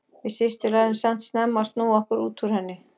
Við systur lærðum samt snemma að snúa okkur út úr henni.